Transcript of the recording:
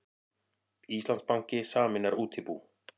Íslandsbanki sameinar útibú